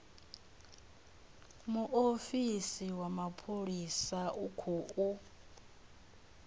muofisi wa mapholisa u khou